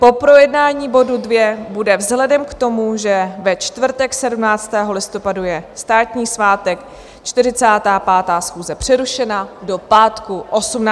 Po projednání bodu 2 bude vzhledem k tomu, že ve čtvrtek 17. listopadu je státní svátek, 45. schůze přerušena do pátku 18. listopadu.